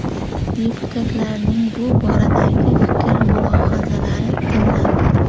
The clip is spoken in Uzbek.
Deputatlarning bu boradagi fikr-mulohazalari tinglandi.